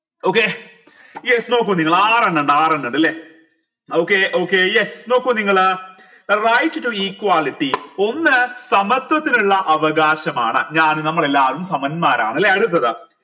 okay yes നോക്കൂ നിങ്ങൾ ആറെണ്ണിണ്ട് ആറെണ്ണിണ്ട് ല്ലെ okay okay yes നോക്കൂ നിങ്ങൾ right to equality ഒന്ന് സമത്വത്തിനുള്ള അവകാശമാണ് ഞാൻ നമ്മളെല്ലാവരും സമന്മാരാണ് ല്ലെ അടുത്തത്